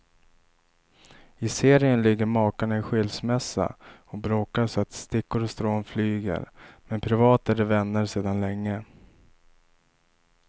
I serien ligger makarna i skilsmässa och bråkar så att stickor och strån flyger, men privat är de vänner sedan länge.